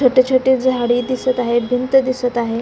छोटी छोटी झाडे दिसत आहेत भिंत दिसत आहे.